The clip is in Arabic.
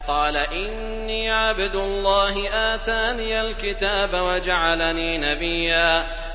قَالَ إِنِّي عَبْدُ اللَّهِ آتَانِيَ الْكِتَابَ وَجَعَلَنِي نَبِيًّا